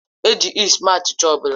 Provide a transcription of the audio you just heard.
E ji yist mee achịcha ọ bụla